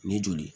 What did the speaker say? Ni joli